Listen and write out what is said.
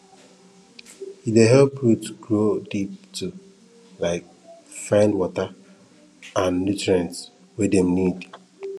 e dey help root grow deep to um find water and nutrients wey dem need